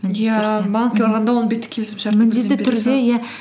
банкке барғанда он бетті келісімшартты иә